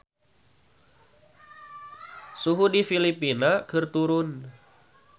Suhu di Filipina keur turun